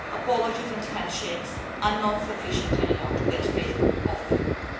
Apologies and handshakes are not sufficient anymore to get Facebook off the hook.